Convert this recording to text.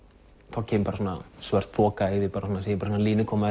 þá kemur bara svona svört þoka sé línu koma